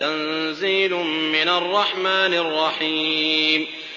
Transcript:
تَنزِيلٌ مِّنَ الرَّحْمَٰنِ الرَّحِيمِ